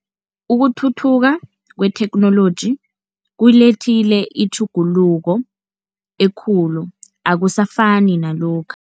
Ukuthuthuka kwetheknoloji kuyilethile itjhuguluko ekulu akusafani nalokha.